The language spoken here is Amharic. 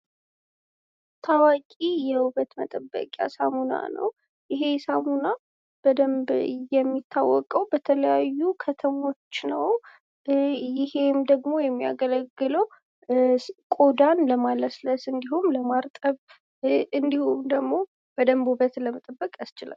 ታዋቂ የውበት መጠበቂያ ሳሙና ነው። ይህ ሳሙና በደንብ የሚታወቀው በተለያዩ ከተሞች ነው። ይሄም ደግሞ የሚያገለግለው ቆዳን ለማለስለስ እንድሁም ለማርጠብ እንድሁም ደግሞ በደንብ ውበትን ለመጠበቅ ያስችላል።